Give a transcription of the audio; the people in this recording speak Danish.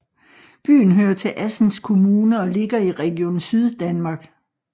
Byen hører til Assens Kommune og ligger i Region Syddanmark